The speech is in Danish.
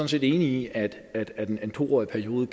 set enige i at at en to årig periode